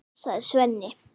sagði Svenni.